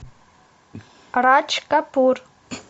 радж капур